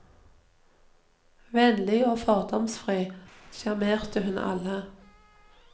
Vennlig og fordomsfri sjarmerte hun alle.